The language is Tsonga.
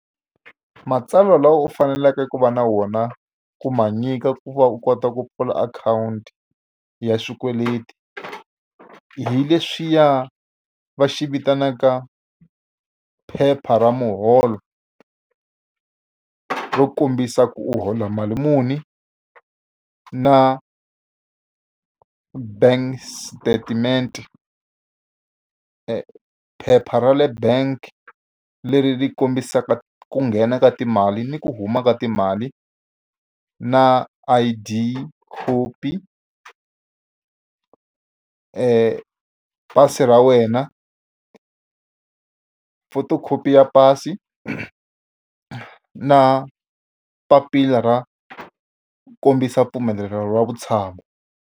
Matsalwa lawa u faneleke ku va na wona ku ma nyika ku va u kota ku pfula akhawunti ya swikweleti, hi leswiya va xi vitanaka phepha ra muholo. Ro kombisa ku u hola mali muni, na bank statement phepha ra le bank leri ri kombisaka ku nghena ka timali ni ku huma ka timali, na I_D khopi pasi ra wena, photocopy ya pasi na papila ra kombisa mpfumelelo wa vutshamo.